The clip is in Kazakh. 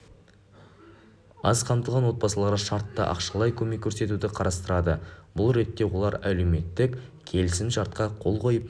аз қамтылған отбасыларға шартты ақшалай көмек көрсетуді қарастырады бұл ретте олар әлеуметтік келісім-шартқа қол қойып